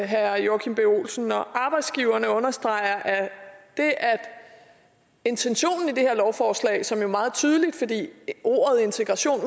herre joachim b olsen når arbejdsgiverne understreger at intentionen i det her lovforslag som jo er meget tydelig fordi ordet integration